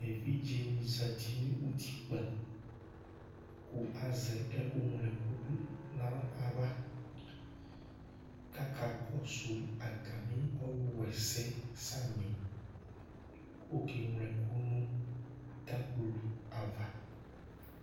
Evidze ni zɛti nʋ ʋtikpa kʋ azɛ ɛku nylo ɛkʋ du nu aɣla kʋ akakɔsu atami ɔlu wa ɛsɛ yɛ samì kʋ ɔke nylo ɛkʋ nʋ tablo ava